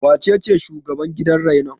Wacece shugaban gidan rainon?